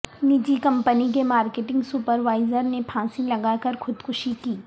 نجی کمپنی کے marketing supervisor رنے پھانسی لگاکر خودکشی کی